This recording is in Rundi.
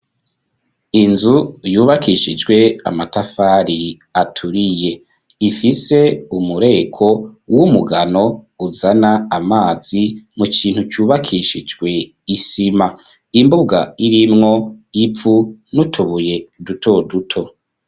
Inzu yubakishijwe amatafari aturiye ifise umureko w'umugano uzana amazi mu kintu cubakishijwe isima ,imbuga irimwo ivu nutubuye duto duto.